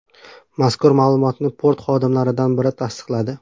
Mazkur ma’lumotni port xodimlaridan biri tasdiqladi.